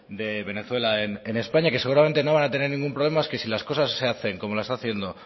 de venezuela en españa que seguramente no van a tener ningún problema que si las cosas se hacen como lo está haciendo